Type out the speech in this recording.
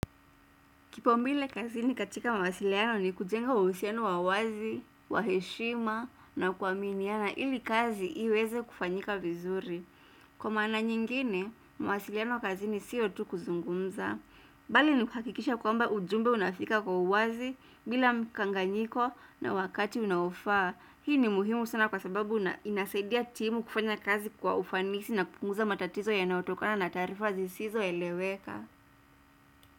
Kipau mbele kazi ni katika mawasiliano ni kujenga usiano wa wazi, waheshima na kuaminiana ili kazi iweze kufanyika vizuri. Kwa mana nyingine, mawasiliano kazi ni sio tu kuzungumza. Bali ni hakikisha kwamba ujumbe unafika kwa uwazi bila mkanganyiko na wakati unaofaa. Hii ni muhimu sana kwa sababu inasedia timu kufanya kazi kwa ufanisi na kukunguza matatizo ya naotokana na tarifa zisizo eleweka.